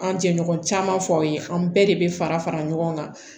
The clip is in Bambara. An jɛɲɔgɔn caman fɔ aw ye an bɛɛ de bɛ fara fara ɲɔgɔn kan